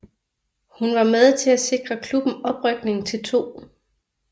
Hun var med til at sikre klubben oprykning til 2